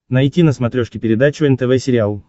найти на смотрешке передачу нтв сериал